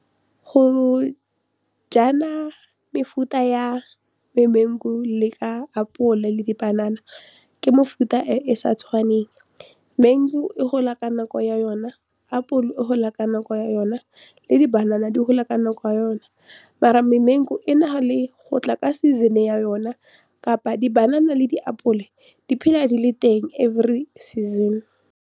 Go jala mefuta ya di-mangu le ka apole le dipanana ke mefuta e e sa tshwaneng, mangu e gola ka nako ya yona, apole e gola ka nako yona le di-banana di gola ka nako ya yone mara memangu e nale gotla ka season ya yona kapa di-banana le diapole di phela di le teng every season.